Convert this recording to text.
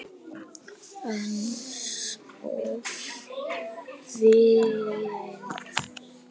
En of seinn.